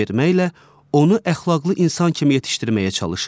onu əxlaqlı insan kimi yetişdirməyə çalışır.